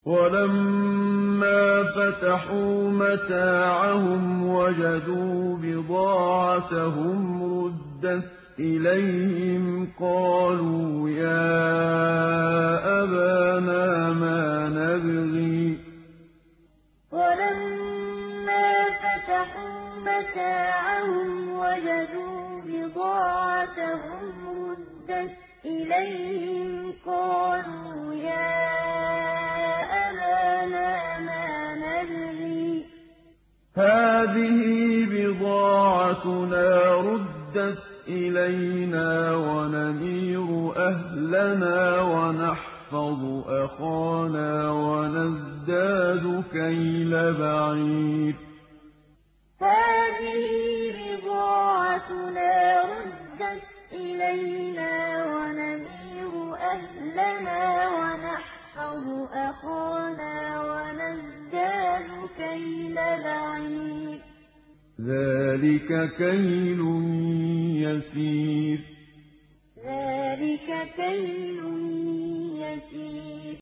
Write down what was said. وَلَمَّا فَتَحُوا مَتَاعَهُمْ وَجَدُوا بِضَاعَتَهُمْ رُدَّتْ إِلَيْهِمْ ۖ قَالُوا يَا أَبَانَا مَا نَبْغِي ۖ هَٰذِهِ بِضَاعَتُنَا رُدَّتْ إِلَيْنَا ۖ وَنَمِيرُ أَهْلَنَا وَنَحْفَظُ أَخَانَا وَنَزْدَادُ كَيْلَ بَعِيرٍ ۖ ذَٰلِكَ كَيْلٌ يَسِيرٌ وَلَمَّا فَتَحُوا مَتَاعَهُمْ وَجَدُوا بِضَاعَتَهُمْ رُدَّتْ إِلَيْهِمْ ۖ قَالُوا يَا أَبَانَا مَا نَبْغِي ۖ هَٰذِهِ بِضَاعَتُنَا رُدَّتْ إِلَيْنَا ۖ وَنَمِيرُ أَهْلَنَا وَنَحْفَظُ أَخَانَا وَنَزْدَادُ كَيْلَ بَعِيرٍ ۖ ذَٰلِكَ كَيْلٌ يَسِيرٌ